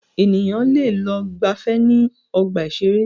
Ènìyàn lẹ lọ gbàfẹ́ ní ọgbà ìṣẹ̀rẹ́.